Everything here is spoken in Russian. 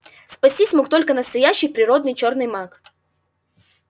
спастись мог только настоящий природный чёрный маг